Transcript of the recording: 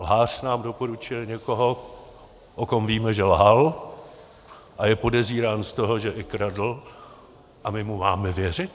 Lhář nám doporučuje někoho, o kom víme, že lhal a je podezírán z toho, že i kradl, a my mu máme věřit?